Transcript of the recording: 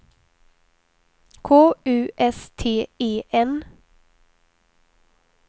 K U S T E N